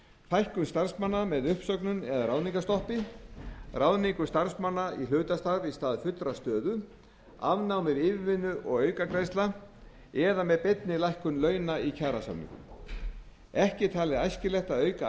fækkun starfsmanna með uppsögnum eða ráðningastoppi ráðningu starfsmanna í hlutastarf í stað fullrar stöðu afnámi yfirvinnu og aukagreiðslna eða með beinni lækkun launa í kjarasamningum ekki er talið æskilegt að auka